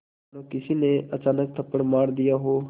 मानो किसी ने अचानक थप्पड़ मार दिया हो